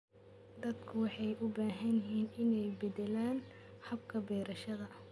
Dadku waxay u baahan yihiin inay beddelaan hababka beerashada.